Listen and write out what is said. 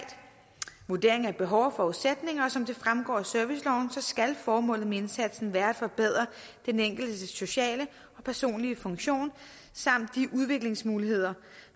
vurdering af behov og forudsætninger som det fremgår af serviceloven skal formålet med indsatsen være at forbedre den enkeltes sociale og personlige funktion samt de udviklingsmuligheder